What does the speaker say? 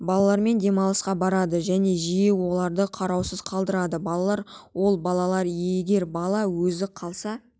балалармен демалысқа барады және жиі оларды қараусыз қалдырады балалар ол балалар егер бала өзі қалса